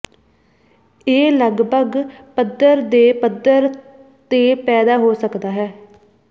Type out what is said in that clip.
ਇਹ ਲਗਭਗ ਪੱਧਰ ਦੇ ਪੱਧਰ ਤੇ ਪੈਦਾ ਹੋ ਸਕਦਾ ਹੈ